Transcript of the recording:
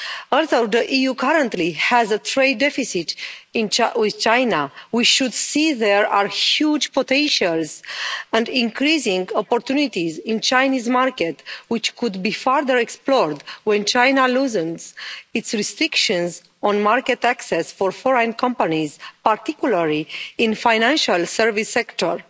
Although the EU currently has a trade deficit with China, we should see there are huge potentials and increasing opportunities in the Chinese market which could be further explored when China loosens its restrictions on market access for foreign companies, particularly in the financial services sector.